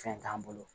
Fɛn t'an bolo